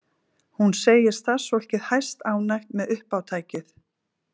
Hún segir starfsfólkið hæstánægt með uppátækið